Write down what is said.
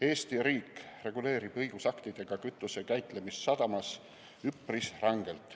Eesti riik reguleerib õigusaktidega kütuse käitlemist sadamas üpris rangelt.